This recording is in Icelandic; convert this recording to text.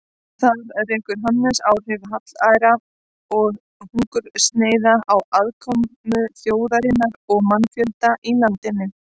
Þar rekur Hannes áhrif hallæra og hungursneyða á afkomu þjóðarinnar og mannfjölda í landinu.